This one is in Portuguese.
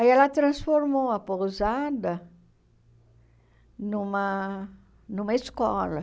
Aí ela transformou a pousada numa numa escola.